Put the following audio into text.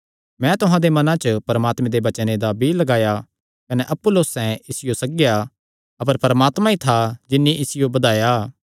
मैं तुहां दे मनां च परमात्मे दे वचने दा बीई लगाया कने अपुल्लोसैं इसियो सग्गेया अपर परमात्मा ई था जिन्नी इसियो बधाया